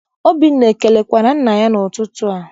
Obinna ekelekwara nna ya n'ụtụtụ a?